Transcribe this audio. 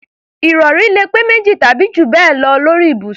Ìrọ̀rí lè pé méjì tàbí jù bẹ́ẹ̀ lọ lórí ibùsùn